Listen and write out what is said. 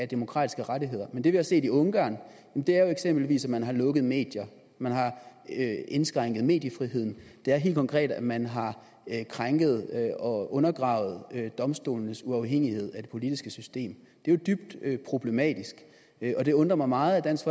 demokratiske rettigheder men det vi har set i ungarn er jo eksempelvis at man har lukket medier man har indskrænket mediefriheden det er helt konkret at man har krænket og undergravet domstolenes uafhængighed af det politiske system det er jo dybt problematisk og det undrer mig meget at dansk